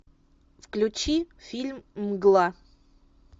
включи фильм мгла